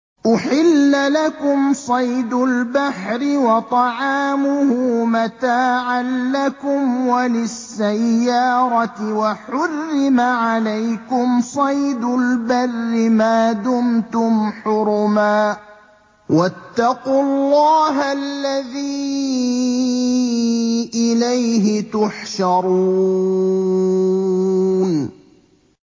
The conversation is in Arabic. أُحِلَّ لَكُمْ صَيْدُ الْبَحْرِ وَطَعَامُهُ مَتَاعًا لَّكُمْ وَلِلسَّيَّارَةِ ۖ وَحُرِّمَ عَلَيْكُمْ صَيْدُ الْبَرِّ مَا دُمْتُمْ حُرُمًا ۗ وَاتَّقُوا اللَّهَ الَّذِي إِلَيْهِ تُحْشَرُونَ